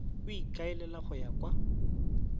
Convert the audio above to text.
o ikaelela go ya kwa